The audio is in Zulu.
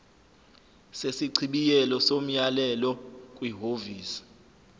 sesichibiyelo somyalelo kwihhovisi